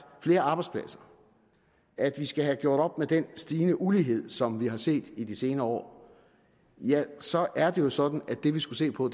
flere arbejdspladser at vi skal have gjort op med den stigende ulighed som vi har set i de senere år ja så er det jo sådan at det vi skal se på